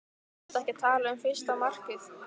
Ertu ekki að tala um fyrsta markið?